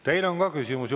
Teile on ka küsimusi.